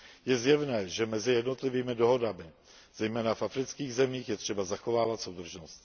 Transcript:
Je zjevné, že mezi jednotlivými dohodami, zejména v afrických zemích, je třeba zachovávat soudržnost.